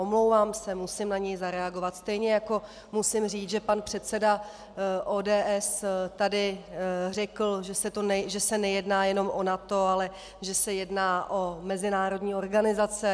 Omlouvám se, musím na něj zareagovat, stejně jako musím říct, že pan předseda ODS tady řekl, že se nejedná jenom o NATO, ale že se jedná o mezinárodní organizace.